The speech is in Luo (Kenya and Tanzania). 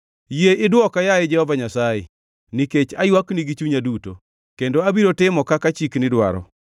Yie idwoka, yaye Jehova Nyasaye, nikech aywakni gi chunya duto kendo abiro timo kaka chikni dwaro.